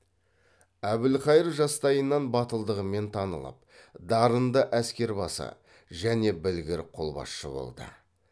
әбілқайыр жастайынан батылдығымен танылып дарынды әскербасы және білгір қолбасшы болды